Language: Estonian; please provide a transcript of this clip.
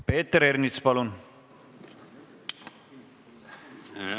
Peeter Ernits, palun!